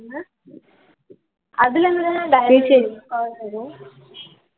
அதுல இருந்துதான call வரும்